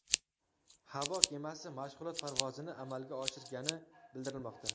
Havo kemasi mashg‘ulot parvozini amalga oshirgani bildirilmoqda.